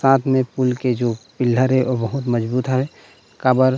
साथ में पूल के जो पिलर हे ओ बहुत मजबूत है काबर--